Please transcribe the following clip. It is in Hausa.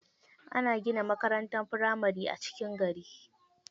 Ana gina makarantar firamari a cikin gari.